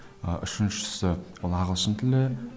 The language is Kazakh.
ы үшіншісі ол ағылшын тілі